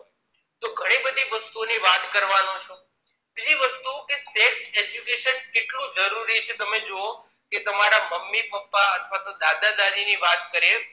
તો ઘણી બધી વસ્તુ ઓ ની વાત કરવાનો છું તેવી વસ્તુ કે self education કેટલું જરૂરી છે તમે જુઓ કે તમારા મમ્મી પપ્પા અથવા દાદા દાદી ની વાત કરીએ